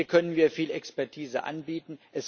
Hier können wir viel Expertise anbieten.